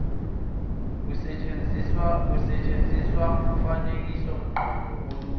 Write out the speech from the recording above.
kusetshenziswa umfanekisomqondo olula